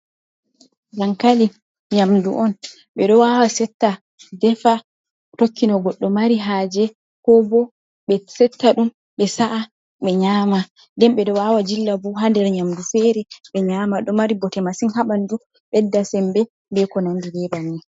Dankali nyamdu'on, ɓe ɗo wawa Setta defa. Tokki no Godɗo mari haje, ko bo ɓe Setta ɗum ɓe sa’a ɓe Nyama. Nden ɓe ɗo wawa jilla ha nder Nyamdu fere be nyama.ɗo mari Bote masin ha ɓandu, beddan Sembe be ko Nandi be banni.